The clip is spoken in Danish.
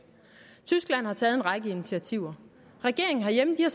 tyskland har taget en række initiativer regeringen herhjemme har